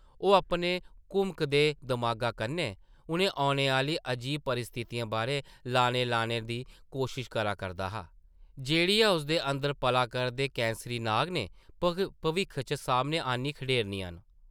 ओह् अपने घुमकदे दमागा कन्नै उʼनें औने आह्ली अजीब परिस्थितियें बारै लाने लाने दी कोशश करा करदा हा, जेह्ड़ियां उसदे अंदर पला करदे कैंसरी नाग नै भविक्ख च सामनै आह्न्नी खड़ेरनियां न ।